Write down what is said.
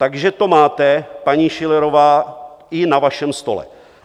Takže to máte, paní Schillerová, i na vašem stole.